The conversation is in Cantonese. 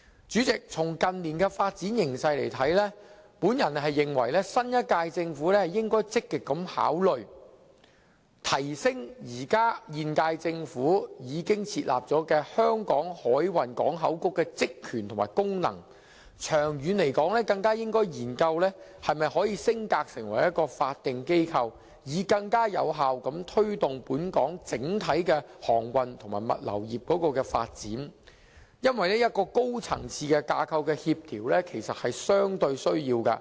主席，從近年的發展形勢來看，我認為新一屆政府應該積極考慮提升現屆政府的香港海運港口局的職能，長遠更應該研究是否可以升格成為法定機構，以便更有效推動本港整體的航運和物流業發展，因為一個高層次架構的協調其實是有需要的。